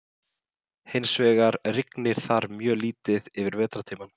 Hins vegar rignir þar mjög lítið yfir vetrartímann.